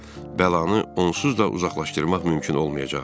Bəlanı onsuz da uzaqlaşdırmaq mümkün olmayacaqdı.